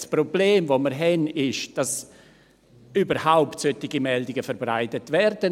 Das Problem, das wir haben, ist, dass solche Meldungen überhaupt verbreitet werden.